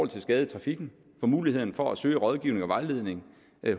til skade i trafikken for muligheden for at søge rådgivning og vejledning